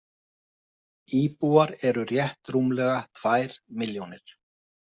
Íbúar eru rétt rúmlega tvær milljónir.